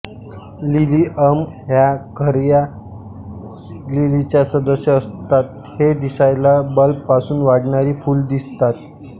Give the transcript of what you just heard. Lilium ह्या खर्या लिलीच्या सदस्य असतात हे दिसायला बल्बपासून वाढणारी फुल दिसतात